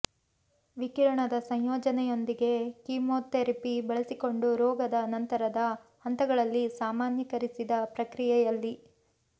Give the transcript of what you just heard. ವಿಕಿರಣದ ಸಂಯೋಜನೆಯೊಂದಿಗೆ ಕಿಮೊತೆರಪಿ ಬಳಸಿಕೊಂಡು ರೋಗದ ನಂತರದ ಹಂತಗಳಲ್ಲಿ ಸಾಮಾನ್ಯೀಕರಿಸಿದ ಪ್ರಕ್ರಿಯೆಯಲ್ಲಿ